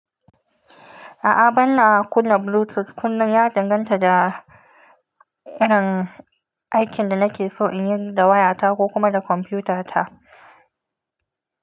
A'a ban na kunna bluetooth, kunnen ya danganta da irin aikin da nake so in yi da waya ta ko kuma da kwamfuta ta.